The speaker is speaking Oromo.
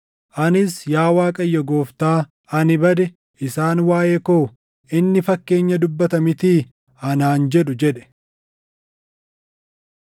Anis, “Yaa Waaqayyo Gooftaa, ani bade! Isaan waaʼee koo, ‘Inni fakkeenya dubbata mitii?’ anaan jedhu” jedhe.